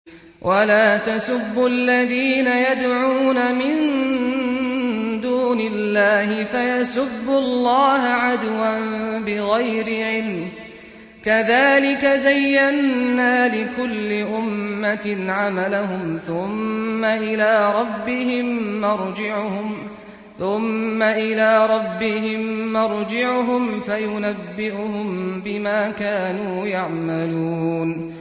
وَلَا تَسُبُّوا الَّذِينَ يَدْعُونَ مِن دُونِ اللَّهِ فَيَسُبُّوا اللَّهَ عَدْوًا بِغَيْرِ عِلْمٍ ۗ كَذَٰلِكَ زَيَّنَّا لِكُلِّ أُمَّةٍ عَمَلَهُمْ ثُمَّ إِلَىٰ رَبِّهِم مَّرْجِعُهُمْ فَيُنَبِّئُهُم بِمَا كَانُوا يَعْمَلُونَ